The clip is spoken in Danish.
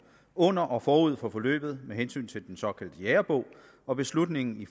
under og forud for forløbet med hensyn til den såkaldte jægerbog og beslutningen i